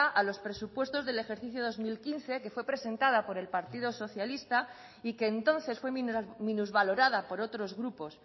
a los presupuestos del ejercicio del dos mil quince que fue presentada por el partido socialista y que entonces fue minusvalorada por otros grupos